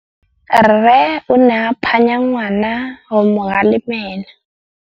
Rre o ne a phanya ngwana go mo galemela.